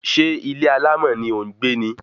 Ṣé ilé alámọ̀ ni ò ń gbé ni?